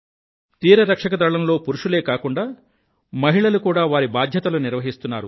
తీరరక్షక దళంలో పురుషులే కాకుండా మహిళలు కూడా వారి బాధ్యతలు నిర్వహిస్తున్నారు